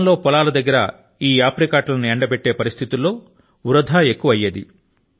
గతం లో పొలాల దగ్గర ఈ ఎప్రికాట్ లను ఎండబెట్టే పరిస్థితుల లో వృథా ఎక్కువ అయ్యేది